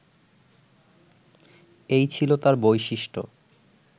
এই ছিল তাঁর বৈশিষ্ট্য